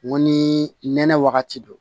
N ko ni nɛnɛ wagati don